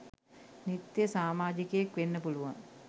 නිත්‍ය සාමාජිකයෙක් වෙන්න පුළුවන්.